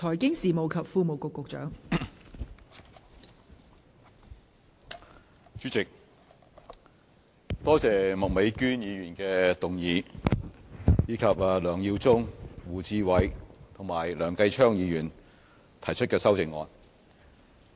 代理主席，我多謝麥美娟議員提出議案，以及梁耀忠議員、胡志偉議員和梁繼昌議員提出修正案。